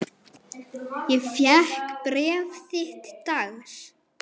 Ég fékk bréf þitt dags.